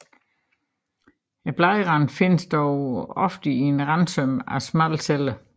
I bladranden findes dog ofte en randsøm af smalle celler